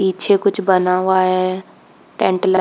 पीछे कुछ बना हुआ है टेंट ल--